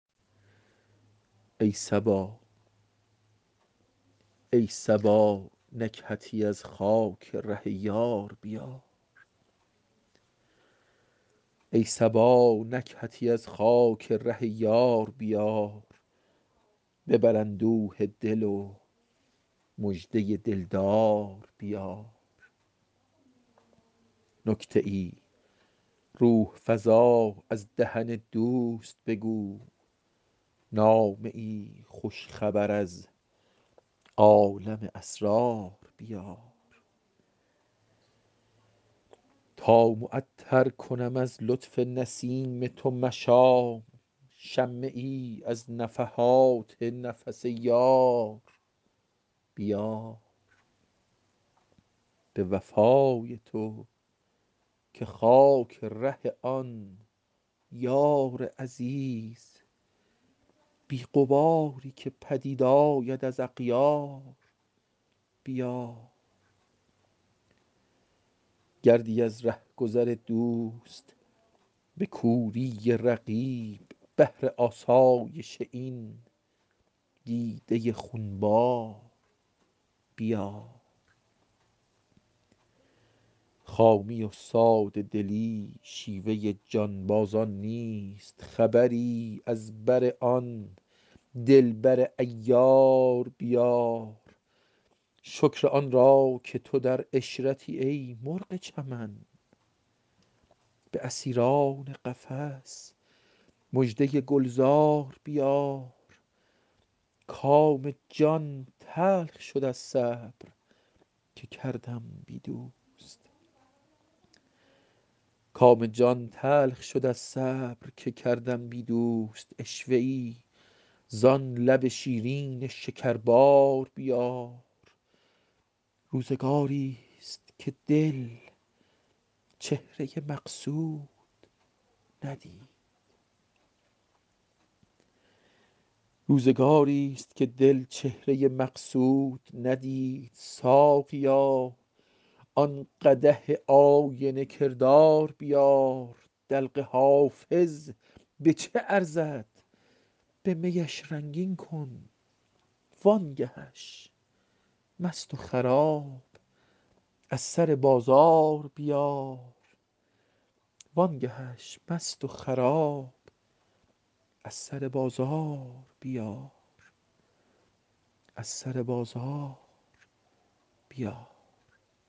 ای صبا نکهتی از خاک ره یار بیار ببر اندوه دل و مژده دل دار بیار نکته ای روح فزا از دهن دوست بگو نامه ای خوش خبر از عالم اسرار بیار تا معطر کنم از لطف نسیم تو مشام شمه ای از نفحات نفس یار بیار به وفای تو که خاک ره آن یار عزیز بی غباری که پدید آید از اغیار بیار گردی از ره گذر دوست به کوری رقیب بهر آسایش این دیده خون بار بیار خامی و ساده دلی شیوه جانبازان نیست خبری از بر آن دل بر عیار بیار شکر آن را که تو در عشرتی ای مرغ چمن به اسیران قفس مژده گل زار بیار کام جان تلخ شد از صبر که کردم بی دوست عشوه ای زان لب شیرین شکربار بیار روزگاریست که دل چهره مقصود ندید ساقیا آن قدح آینه کردار بیار دلق حافظ به چه ارزد به می اش رنگین کن وان گه اش مست و خراب از سر بازار بیار